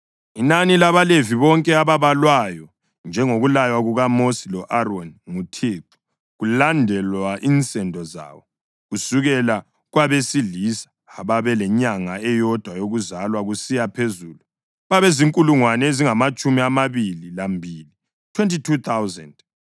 Inani labaLevi bonke ababalwayo njengokulaywa kukaMosi lo-Aroni nguThixo kulandelwa insendo zawo, kusukela kwabesilisa ababelenyanga eyodwa yokuzalwa kusiya phezulu, babezinkulungwane ezingamatshumi amabili lambili (22,000).